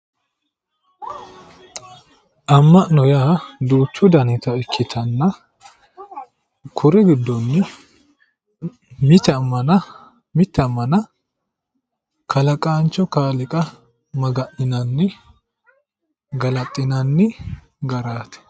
Ama'no yaa duuchu dannitta ikkittanna kuri giddoni mite amana kalaqancho kaaliiqa maga'ninnani galaxinanni garati